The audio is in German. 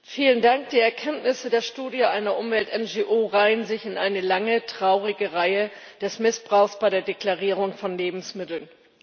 Frau Präsidentin! Die Erkenntnisse der Studie einer Umwelt NGO reihen sich in eine lange, traurige Reihe des Missbrauchs bei der Deklarierung von Lebensmitteln.